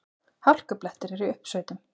Hálkublettir eru í uppsveitum